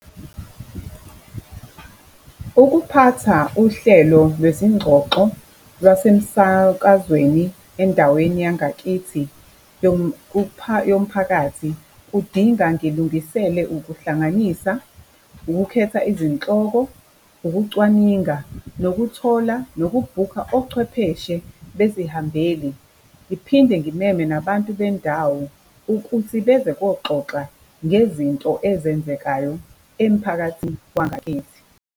Ukuphatha uhlelo lwezingxoxo lwasemsakazweni endaweni yangakithi yomphakathi kudinga ngilungisele ukuhlanganisa, ukukhetha izihloko, ukucwaninga, nokuthola, nokubhukha ochwepheshe bzihambeli. Ngiphinde ngimeme nabantu bendawo, ukuthi beze koxoxwa ngezinto ezenzekayo emphakathini wangakithi.